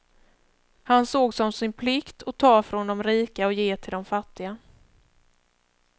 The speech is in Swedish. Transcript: Han såg som sin plikt att ta från de rika och ge till de fattiga.